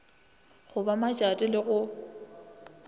go ba matšato le go